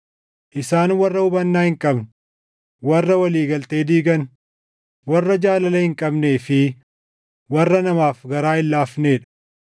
isaan warra hubannaa hin qabne, warra walii galtee diigan, warra jaalala hin qabnee fi warra namaaf garaa hin laafnee dha.